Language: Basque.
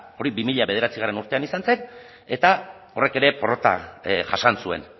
hori bi mila bederatzigarrena urtean izan zen eta horrek ere porrota jasan zuen